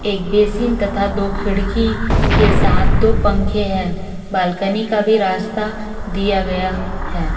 एक बेसिन तथा दो खिड़की के साथ दो पंखे हैं बाल्कनी का भी रास्ता दिया गया है।